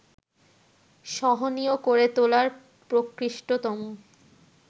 সহনীয় করে তোলার প্রকৃষ্টতম